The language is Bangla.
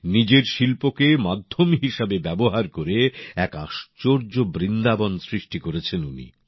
নিজের শিল্পকে মাধ্যম হিসেবে ব্যবহার করে এক আশ্চর্য বৃন্দাবন সৃষ্টি করেছেন উনি